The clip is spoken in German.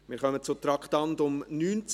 Wir kommen zu Traktandum 19: